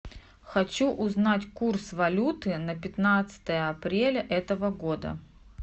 хочу узнать курс валюты на пятнадцатое апреля этого года